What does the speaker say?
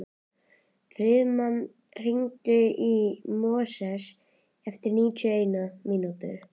Friðmann, hringdu í Móses eftir níutíu og eina mínútur.